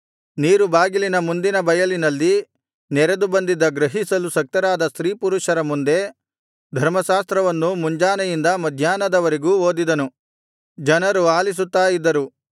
ನೀರುಬಾಗಿಲಿನ ಮುಂದಿನ ಬಯಲಿನಲ್ಲಿ ನೆರೆದು ಬಂದಿದ್ದ ಗ್ರಹಿಸಲು ಶಕ್ತರಾದ ಸ್ತ್ರೀಪುರುಷರ ಮುಂದೆ ಧರ್ಮಶಾಸ್ತ್ರವನ್ನು ಮುಂಜಾನೆಯಿಂದ ಮಧ್ಯಾಹ್ನದವರೆಗೂ ಓದಿದನು ಜನರು ಆಲಿಸುತ್ತಾ ಇದ್ದರು